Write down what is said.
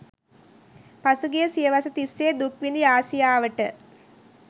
පසුගිය සියවස තිස්සේ දුක්විඳි ආසියාවට